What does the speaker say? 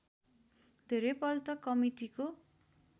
धेरै पल्ट कमिटीको